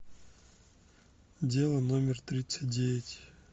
дело номер тридцать девять